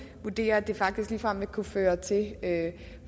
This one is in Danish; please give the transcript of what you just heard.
vurderer at det ligefrem vil kunne føre til at